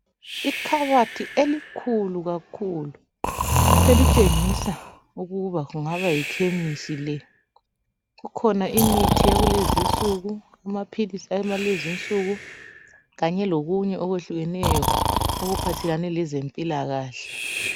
Ikhabothi elikhulu kakhulu elitshengisa ukuba kungaba yikhemisi le. Kukhona imithi yakulezinsuku, amaphilisi akulezinsuku kanye lokunye okwehlukeneyo okuphathelane lezempilakahle.